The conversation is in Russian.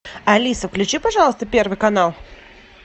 алиса включи пожалуйста первый канал